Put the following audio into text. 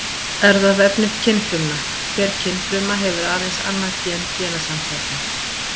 Erfðaefni kynfrumna: Hver kynfruma hefur aðeins annað gen genasamsæta.